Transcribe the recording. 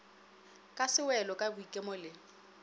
ka sewelo ka boikemo le